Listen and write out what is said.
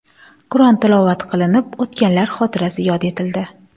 Qur’on tilovat qilinib o‘tganlar xotirasi yod etildi.